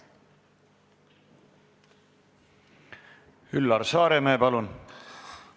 Üllar Saaremäe, palun!